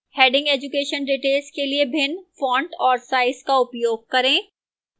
heading education details के लिए भिन्न font और size का उपयोग करें